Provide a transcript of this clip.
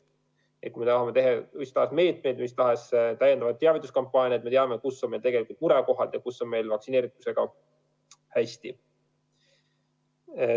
Nii et kui me tahame rakendada mis tahes meetmeid, teha mis tahes täiendavaid teavituskampaaniaid, siis me teame, kus on meil murekohad ja kus on vaktsineeritusega hästi.